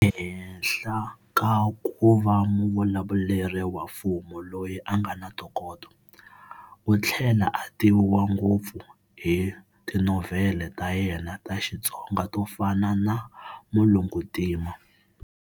Ehenhla ka kuva muvulavuleri wa mfumo loyi angana ntokoto, uthlela a tiviwa ngopfu hi tinovhele ta yena ta xitsonga to fana na"Mulunguntima".